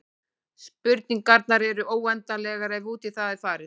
Spurningarnar eru óendanlegar ef út í það er farið.